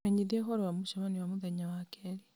menyithia ũhoro wa mũcemanio wa mũthenya wa keerĩ